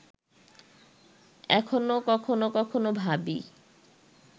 এখনো কখনো কখনো ভাবি